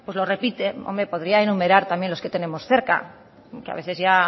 lo repite hombre podría enumerar también los que tenemos cerca que a veces ya